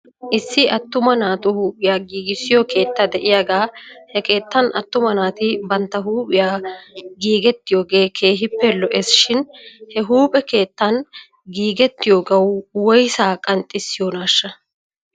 Issi attuma naatu huuphphiyaa giigissiyoo keetta de'iyaaga he keettan atumma naati bantta huuphphiyaa giigettiyoogee keehippe lo'es shin he huuphphe keettan giigettiyoogaw woysaa qanxxissiyoonaashsha?